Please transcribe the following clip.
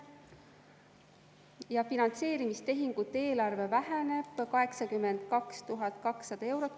Ja finantseerimistehingute eelarve väheneb 82 200 eurot.